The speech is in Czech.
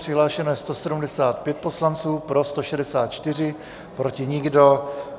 Přihlášeno je 175 poslanců, pro 164, proti nikdo.